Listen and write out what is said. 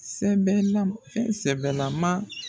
Sɛbɛn na fɛn sɛbɛlaman